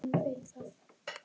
Elsku besta Ella amma.